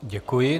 Děkuji.